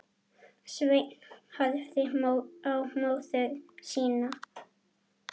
Sveinn horfði á móður sína.